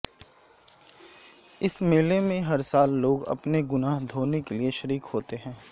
اس میلے میں ہر سال لوگ اپنے گناہ دھونے کے لیے شریک ہوتے ہیں